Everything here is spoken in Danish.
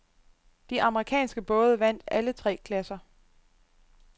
De amerikanske både vandt alle tre klasser.